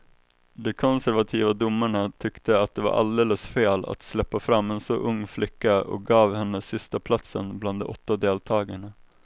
De konservativa domarna tyckte det var alldeles fel att släppa fram en så ung flicka och gav henne sistaplatsen bland de åtta deltagarna.